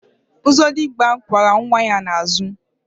Ọzọdimgba kwọrọ nwa ya n'àzụ̀.